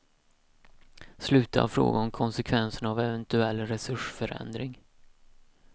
Sluta att fråga om konsekvenserna av eventuell resursförändring.